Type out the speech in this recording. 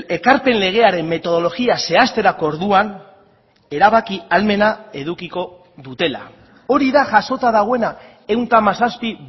ekarpen legearen metodologia zehazterako orduan erabaki ahalmena edukiko dutela hori da jasota dagoena ehun eta hamazazpi